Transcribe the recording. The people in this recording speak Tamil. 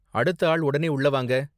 அடுத்த ஆள் உடனே உள்ள வாங்க!